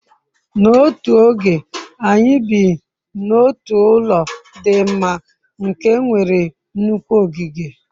n'otu oge, anyi bi n'otu ulo di mma nke nwere nnukwu ogige